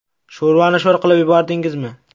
Sho‘rvani sho‘r qilib yubordingizmi?